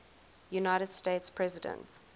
united states president